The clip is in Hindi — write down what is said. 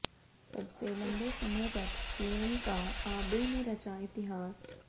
सबसे लंबे समय तक पीएम का आबे ने रचा इतिहास